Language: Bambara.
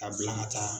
A bila ka taa